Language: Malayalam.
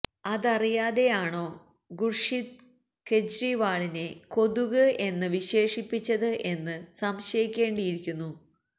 അതറിയാതെ ആണോ ഖുര്ഷിദ് കേജ്രിവളിനെ കൊതുക് എന്ന് വിശേഷിപ്പിച്ചത് എന്ന് സംശയിക്കേണ്ടിയിരിക്കുന്നു